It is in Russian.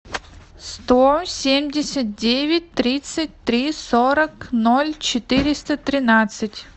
сто семьдесят девять тридцать три сорок ноль четыреста тринадцать